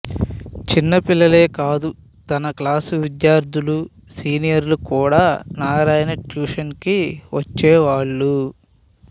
చిన్నపిల్లలే కాదు తన క్లాస్ విద్యార్థులు సీనియర్లు కూడా నారాయణ ట్యూషన్ కి వచ్చేవాళ్ళు